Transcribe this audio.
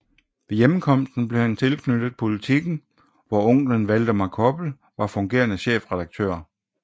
Ved hjemkomsten blev han tilknyttet dagbladet Politiken hvor onkelen Valdemar Koppel var fungerende chefredaktør